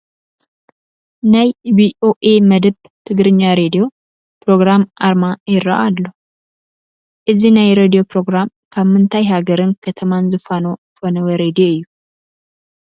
ናይ ቪኦኤ መድብ ትግራኛ ሬድዮ ፕሮግራም ኣርማ ይርአ ኣሎ፡፡ እዚ ናይ ሬድዮ ፕሮግራም ካብ ምንታይ ሃገርን ከተማን ዝፉኖ ፈነወ ሬድዮ እዩ?